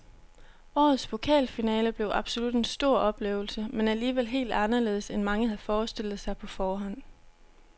Årets pokalfinale blev absolut en stor oplevelse, men alligevel helt anderledes end mange havde forestillet sig på forhånd.